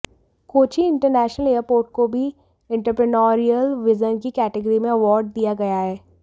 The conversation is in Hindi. कोचीन इंटरनेशनल एयरपोर्ट को भी इंटरप्रेन्योरियल विजन की कैटिगरी में अवॉर्ड दिया गया है